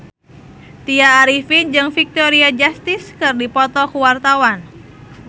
Tya Arifin jeung Victoria Justice keur dipoto ku wartawan